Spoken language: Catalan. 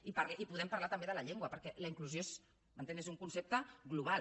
i podem parlar també de la llengua perquè la inclusió m’entén és un concepte global